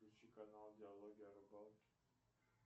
включи канал диалоги о рыбалке